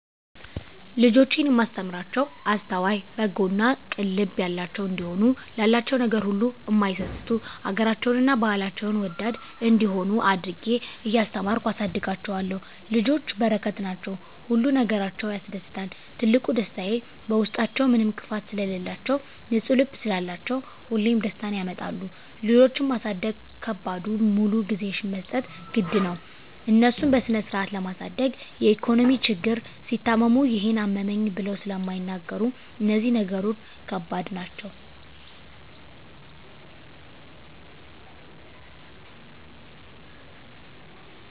ልጆቼን እማስተምራቸዉ አስተዋይ፣ በጎ እና ቅን ልብ ያላቸዉ እንዲሆኑ፣ ላላቸዉ ነገር ሁሉ እማይሳስቱ፣ ሀገራቸዉን እና ባህላቸዉን ወዳድ እንዲሆነ አድርጌ እያስተማርኩ አሳድጋቸዋለሁ። ልጆች በረከት ናቸዉ። ሁሉ ነገራቸዉ ያስደስታል ትልቁ ደስታየ በዉስጣችዉ ምንም ክፋት ስለላቸዉ፣ ንፁ ልብ ስላላቸዉ ሁሌም ደስታን ያመጣሉ። ልጆች ማሳደግ ከባዱ ሙሉ ጊዜሽን መስጠት ግድ ነዉ፣ እነሱን በስነስርአት ለማሳደግ የኢኮኖሚ ችግር፣ ሲታመሙ ይሄን አመመኝ ብለዉ ስለማይናገሩ እነዚህ ነገሮች ከባድ ናቸዉ።